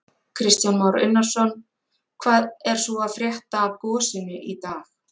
Kristján Már Unnarsson: Hvað er svo að frétta af gosinu í dag?